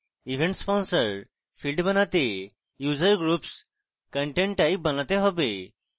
event sponsor field বানাতে আমাকে user groups content type বানাতে হবে